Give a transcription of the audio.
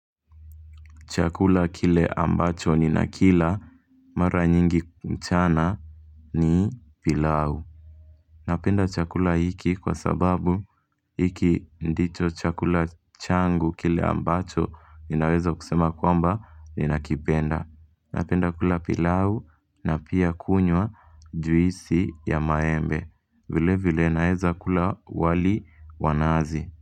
Chakula kile ambacho ni nakila mara nyingi mchana ni pilau. Napenda chakula hiki kwa sababu hiki ndicho chakula changu kile ambacho ninaweza kusema kwamba ninakipenda. Napenda kula pilau na pia kunywa juisi ya maembe. Vile vile naeza kula wali wa nazi.